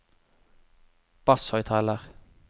basshøyttaler